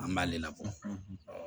An b'ale labɔ